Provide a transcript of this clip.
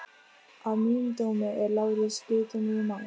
Að mínum dómi er Lárus guðdómlegur maður.